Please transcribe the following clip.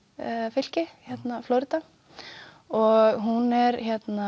fylki Flórída og hún er